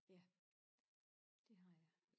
Ja det har jeg